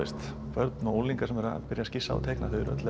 börn og unglingar sem eru að skissa eru öll